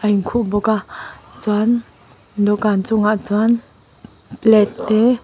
a in khuh bawk a chuan dawhkan chungah chuan plate te--